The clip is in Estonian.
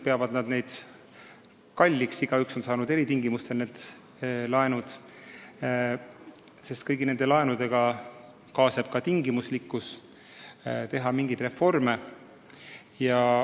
Igaüks on need laenud saanud eri tingimustel, kõigi laenudega kaasneb nõue läbi viia mingeid reforme.